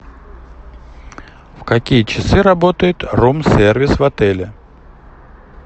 в какие часы работает рум сервис в отеле